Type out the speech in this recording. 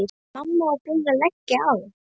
En mamma var búin að leggja á.